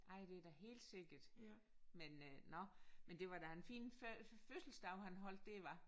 Ej det da helt sikkert men øh nåh men det var da en fin fødselsdag han holdt der hva?